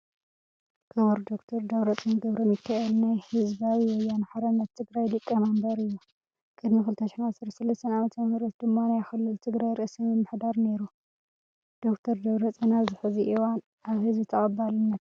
ክቡር ዶ/ር ደብረፅዮን ገ/ሚካኤል ናይ ህባዊ ወያነ ሓርነት ትግራይ ሊቀ መንበር እዩ ። ቅድሚ 2013 ዓ/ም ድማ ናይ ክልል ትግራይ ርእሰ መምሕዳር ነይሩ ። ዶ/ር ደብረፅዮን ኣብዚ ሕዚ እዋን ኣብ ህዝቢ ተቀባልነት ኣለዎ ዶ ?